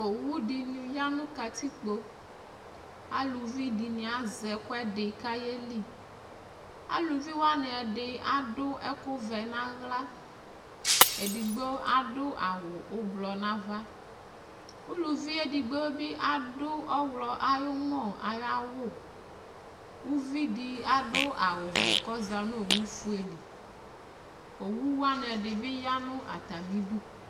Owu dɩnɩ ya nʋ katikpo Aluvi dɩnɩ azɛ ɛkʋɛdɩ kʋ ayeli Aluvi wanɩ ɛdɩ adʋ ɛkʋvɛ nʋ aɣla Edigbo adʋ awʋ ʋblɔ nʋ ava Uluvi edigbo bɩ adʋ ɔɣlɔ ayʋ ʋmɔ ayʋ awʋ Uvi dɩ adʋ awʋvɛ kʋ ɔza nʋ owufue li Owu wanɩ ɛdɩ bɩ ya nʋ atamɩdu